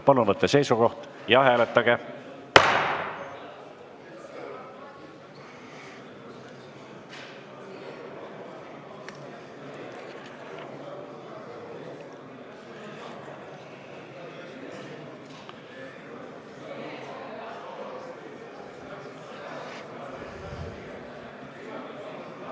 Palun võtke seisukoht ja hääletage!